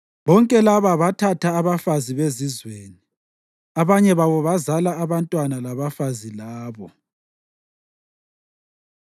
Bonke laba bathatha abafazi bezizweni, abanye babo bazala abantwana labafazi labo.